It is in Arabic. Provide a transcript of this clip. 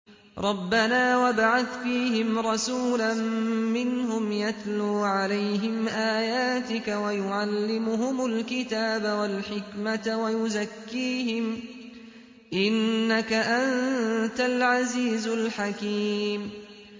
رَبَّنَا وَابْعَثْ فِيهِمْ رَسُولًا مِّنْهُمْ يَتْلُو عَلَيْهِمْ آيَاتِكَ وَيُعَلِّمُهُمُ الْكِتَابَ وَالْحِكْمَةَ وَيُزَكِّيهِمْ ۚ إِنَّكَ أَنتَ الْعَزِيزُ الْحَكِيمُ